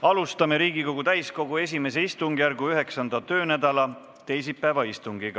Alustame Riigikogu täiskogu I istungjärgu 9. töönädala teisipäevast istungit.